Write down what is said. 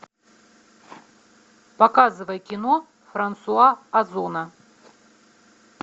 показывай кино франсуа озона